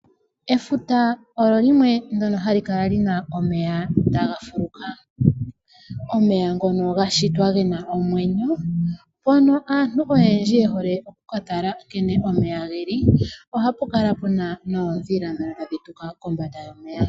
Efuta olyo limwe ndyono ha li kala li na omeya taga fuluka. Omeya ngono ga shitwa ge na omwenyo, ngono aantu oyendji ye hole oku ka tala nkene omeya geli , oha ku kala ku na noodhila ndhono tadhi tuka kombanda yomeya.